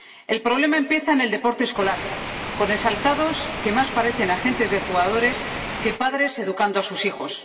El problema empieza en el deporte escolar, con exaltados que más parecen agentes de jugadores que padres educando a sus hijos.